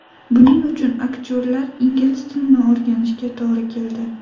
Buning uchun aktyorlar ingliz tilini o‘rganishiga to‘g‘ri keldi.